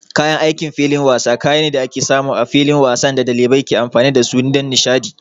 Kayan aikin filin wasa kaya ne da ake samu a filin wasan da ɗalibai ke amfani da su don nishaɗi.